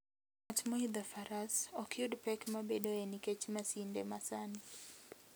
Ng'at moidho faras, ok yud pek mabedoe nikech masinde masani.